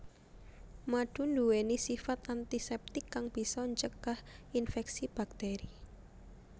Madu nduweni sifat antiseptik kang bisa ncegah inféksi bakteri